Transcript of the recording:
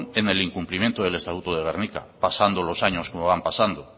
en el incumplimiento del estatuto de gernika pasando los años como van pasando